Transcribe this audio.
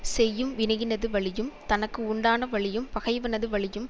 செய்யும் வினையினது வலியும் தனக்கு உண்டான வலியும் பகைவனது வலியும்